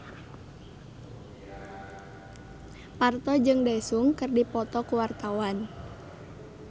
Parto jeung Daesung keur dipoto ku wartawan